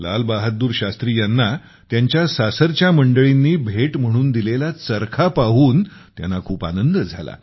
लाल बहादूर शास्त्री यांना त्यांच्या सासरच्या मंडळींनी भेट म्हणून दिलेला चरखा पाहून त्यांना खूप आनंद झाला